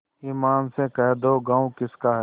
ईमान से कह दो गॉँव किसका है